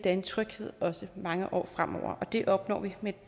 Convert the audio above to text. er en tryghed også mange år fremover og det opnår vi med